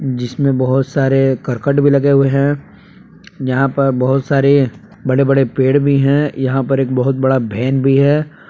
जिसमें बहोत सारे करकट भी लगे हुए हैं यहां पर बहोत सारे बड़े बड़े पेड़ भी हैं यहां पर एक बहुत बड़ा वहन भी है।